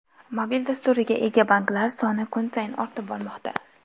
Mobil dasturiga ega banklar soni kun sayin ortib bormoqda.